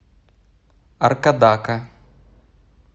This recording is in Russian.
аркадака